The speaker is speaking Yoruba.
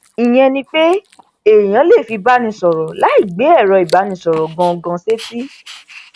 ìyẹn ni pé èèyàn lè fi báni sọrọ láì gbé ẹrọ ìbánisọrọ gangan sétí